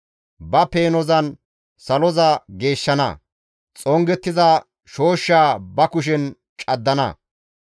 Ba peenozan saloza geeshshana; xongettiza shooshshaa ba kushen caddana.